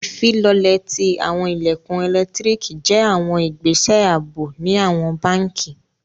Ifilọlẹ̀ ti awọn ilẹ̀kun ẹ̀lẹ́ktríkì jẹ̀ awọn ìgbẹ̀sẹ̀ àabò ni awọn bánkì.